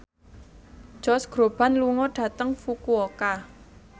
Josh Groban lunga dhateng Fukuoka